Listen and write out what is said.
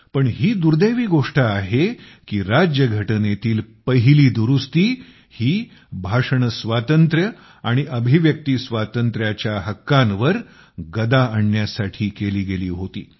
पण ही दुर्दैवी गोष्ट आहे की राज्यघटनेतील पहिली दुरुस्ती ही भाषणस्वातंत्र्य आणि अभिव्यक्ती स्वातंत्र्याच्या हक्कांवर गदा आणण्यासाठी केली गेली होती